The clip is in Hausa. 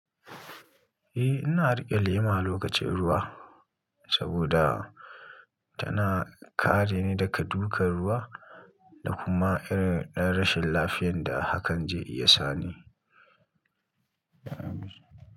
Eh, ina riƙe lema lokacin ruwa saboda tana kare ni daga dukan ruwa da kuma irin rashin lafiyan da hakan zai iya sani.